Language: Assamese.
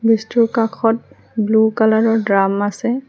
ব্ৰিজটোৰ কাষত ব্লু কালাৰৰ দ্ৰাম আছে।